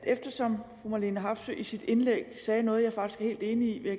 eftersom fru marlene harpsøe i sit indlæg sagde noget som jeg faktisk er helt enig i vil